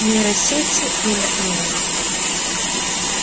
нейросети рулят миром